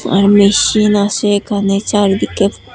আর machine আছে এখানে চারিদিকে।